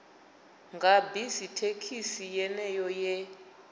nga bisi thekhisi yeneyo ye